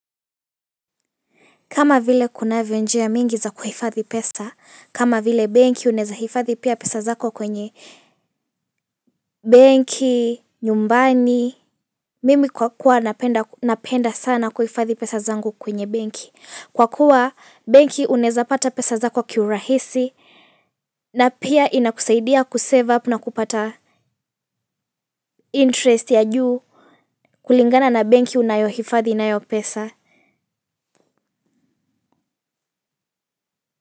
Kama vile kunavyo njia mingi za kuhifadhi pesa, kama vile benki unaeza hifadhi pia pesa zako kwenye benki, nyumbani, mimi kwa kuwa napenda sana kuhifadhi pesa zangu kwenye benki. Kwa kuwa benki unaeza pata pesa zako kiurahisi na pia inakusaidia kusevu apu na kupata interest ya juu kulingana na benki unayohifadhi nayo pesa.